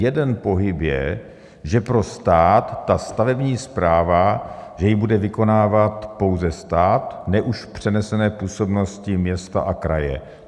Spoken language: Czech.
Jeden pohyb je, že pro stát - stavební správa, že ji bude vykonávat pouze stát, ne už v přenesené působnosti města a kraje.